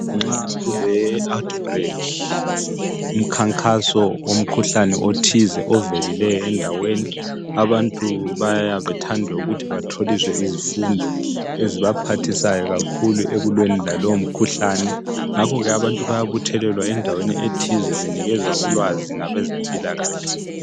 Nxa kule"out break" umkhankaso womkhuhlane othize ovelileyo endaweni, abantu baya bethande ukuthi batholiswe izifundo ezibaphathisayo kakhuku ekulweni lalowo mkhuhlane, ngakho ke abantu bayabuthelelwa endaweni ethize benikezwa ulwazi ngabezempilakahle.